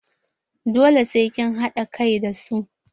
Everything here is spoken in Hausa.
Dole sai kin haɗa kai da su!